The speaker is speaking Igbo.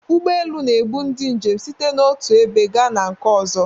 Ụgbọ elu na-ebu ndị njem site n'otu ebe gaa na nke ọzọ.